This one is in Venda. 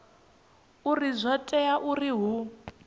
uri zwo tea uri hu